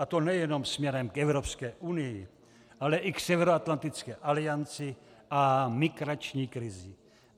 A to nejenom směrem k Evropské unii, ale i k Severoatlantické alianci a migrační krizi.